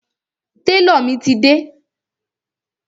Tálọ̀ mi ti dé.